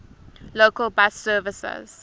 local bus services